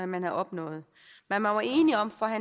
man havde opnået man var enige om for at